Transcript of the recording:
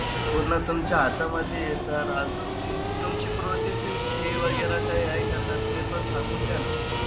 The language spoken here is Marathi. पूर्ण तुमच्या हातामध्ये हे sir. आजूक तुम तुमची processing fee वगैरा काई आहे का sir? तेपण सांगून द्या ना.